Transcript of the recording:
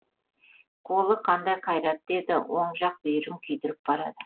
қолы қандай қайратты еді оң жақ бүйірін күйдіріп барады